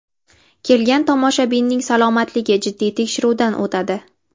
Kelgan tomoshabinning salomatligi jiddiy tekshiruvdan o‘tadi.